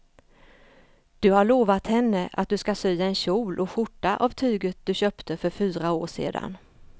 Du har lovat henne att du ska sy en kjol och skjorta av tyget du köpte för fyra år sedan.